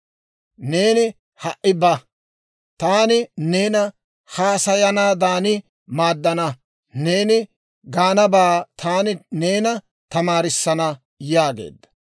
Neeni ha"i ba; taani neena haasayanaadan maaddana; neeni gaanabaa taani neena tamaarissana» yaageedda.